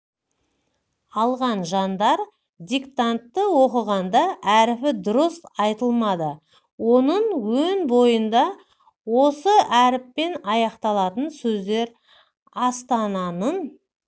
алған жандар диктантты оқығанда әріпі дұрыс айтылмады оның өн бойында осы әріппен аяқталатын сөздер астананын